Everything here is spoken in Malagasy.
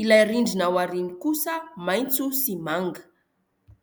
ilay rindrina ao aoriany kosa maintso sy manga .